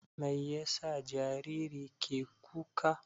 Mai yasa jariri ke ƙuka?